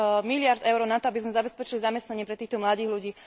miliárd EUR na to, aby sme zabezpečili zamestnanie pre týchto mladých ľudí.